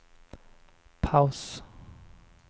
paus